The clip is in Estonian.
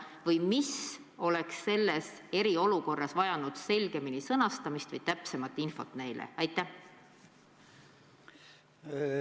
Kas miski oleks pidanud eriolukorras olema selgemini sõnastatud või kas nad on oodanud täpsemat infot?